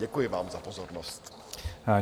Děkuji vám za pozornost.